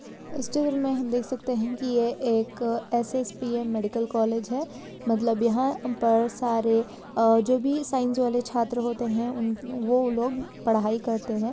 इस चित्र मे हम देख सकते है। की यह एक एस_एस_पी_एम मेडिकल कॉलेज है। मतलब यहाँ पर सारे अ जोभी साइन्स वाले छात्र होते है। उन वो वो लोग पढ़ाई करते है।